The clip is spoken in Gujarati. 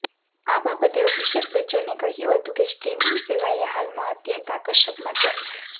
આ બાબતે અભિષેક બચ્ચને કહ્યું હતું કે સ્ટ્રીમિંગ સેવાએ હાલમાં અત્યંત આકર્ષક માધ્યમ છે